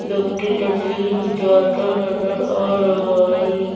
व्यक्ति तस्वीर खिचवाता नजर आ रहा है।